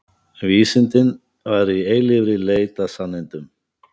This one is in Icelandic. Vísindin væru í eilífri leit að sannindum.